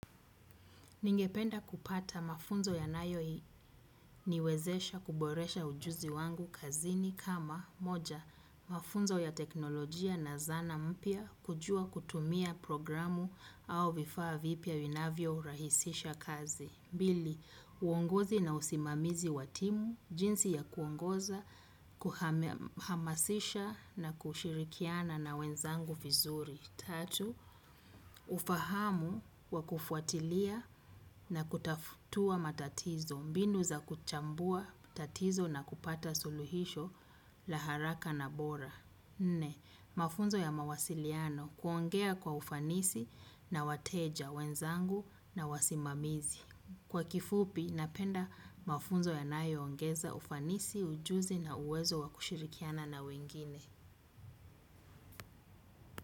Ningependa kupata mafunzo yanayoniwezesha kuboresha ujuzi wangu kazini kama, moja mafunzo ya teknolojia na zana mpya, kujua kutumia programu au vifaa vipya vinavyorahisisha kazi. Mbili, uongozi na usimamizi wa timu, jinsi ya kuongoza, kuhamasisha na kushirikiana na wenzangu vizuri. Tatu, ufahamu wa kufuatilia na kutatua matatizo, mbinu za kuchambua matatizo na kupata suluhisho la haraka na bora. Nne, mafunzo ya mawasiliano, kuongea kwa ufanisi na wateja wenzangu na wasimamizi. Kwa kifupi, napenda mafunzo yanayoongeza ufanisi, ujuzi na uwezo wa kushirikiana na wengine.